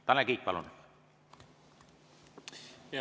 Tanel Kiik, palun!